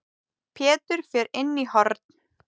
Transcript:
Pétur fer inn í horn.